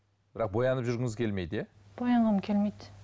бірақ боянып жүргіңіз келмейді иә боянғым келмейді